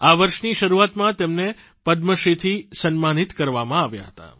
આ વર્ષની શરૂઆતમાં તેમને પદ્મશ્રી થી સન્માનિત કરવામાં આવ્યાં હતાં